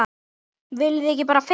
Viljið þið ekki bara fisk!